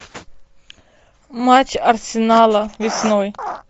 матч арсенала весной